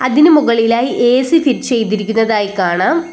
ഇതിനു മുകളിലായി AC fit ചെയ്തിരിക്കുന്നതായി കാണാം.